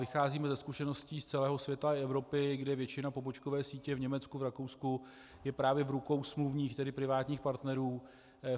Vycházíme ze zkušeností z celého světa i Evropy, kdy většina pobočkové sítě v Německu, v Rakousku je právě v rukou smluvních, tedy privátních partnerů.